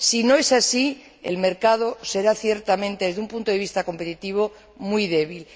Si no es así, el mercado será, ciertamente, desde un punto de vista competitivo, muy débil.